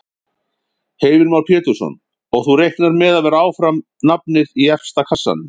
Heimir Már Pétursson: Og þú reiknar með að vera áfram nafnið í efsta kassanum?